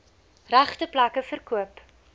regte plekke verkoop